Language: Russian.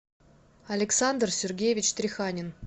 александр сергеевич треханин